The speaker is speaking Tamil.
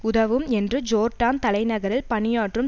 உதவும் என்று ஜோர்டான் தலைநகரில் பணியாற்றும்